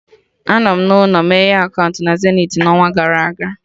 Anọ m n'ụlọ meghe akaụntụ na Zenith n'ọnwa gara aga